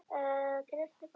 Bað hana að koma strax.